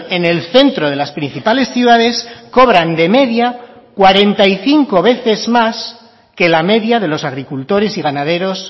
en el centro de las principales ciudades cobran de media cuarenta y cinco veces más que la media de los agricultores y ganaderos